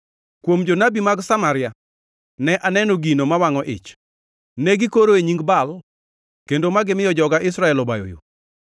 “Kuom jonabi mag Samaria ne aneno gino mawangʼo ich: Ne gikoro e nying Baal kendo ma gimiyo joga Israel obayo yo.